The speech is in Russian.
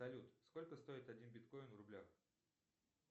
салют сколько стоит один биткоин в рублях